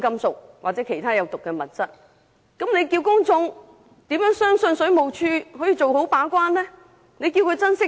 這樣一來，試問公眾怎能相信水務署可做好把關工作？